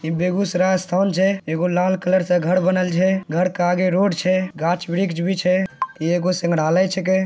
ये बेगूसराय रास्थावन छे। एको लाल कलर से घर बनेल छ । घर के आगे रोड छ । गाच वृक्ष भी छै। ये कोई सिमरालय छेके ।